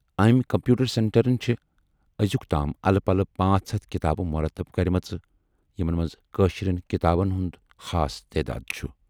ٲمۍ کمپیوٗٹر سینٹرن چھِ ٲزیُکتام الہٕ پلہٕ پٲنژ ہَتھ کِتابہٕ مُرتب کٔرمژٕ یِمن مَنز کٲشِرٮ۪ن کِتابَن ہُند خاص تیداد چھُ۔